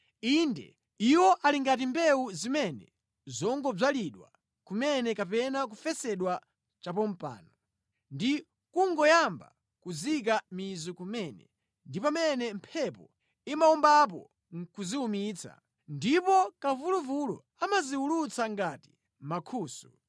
Inde, iwo ali ngati mbewu zimene zangodzalidwa kumene kapena kufesedwa chapompano, ndi kungoyamba kuzika mizu kumene ndi pamene mphepo imawombapo nʼkuziwumitsa ndipo kamvuluvulu amaziwulutsa ngati mankhusu.